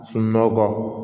Sunɔgɔ kɔ